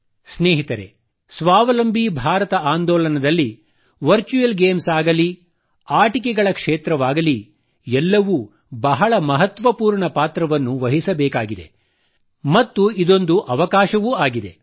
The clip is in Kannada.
ಸ್ನೇಹಿತರೆ ಸ್ವಾವಲಂಬಿ ಭಾರತ ಆಂದೋಲನದಲ್ಲಿ ವರ್ಚುವಲ್ ಗೇಮ್ಸ್ ಆಗಲಿ ಆಟಿಕೆಗಳ ಕ್ಷೇತ್ರವಾಗಲಿ ಎಲ್ಲವೂ ಬಹಳ ಮಹತ್ವಪೂರ್ಣ ಪಾತ್ರವನ್ನು ವಹಿಸಬೇಕಿದೆ ಮತ್ತು ಇದೊಂದು ಅವಕಾಶವೂ ಆಗಿದೆ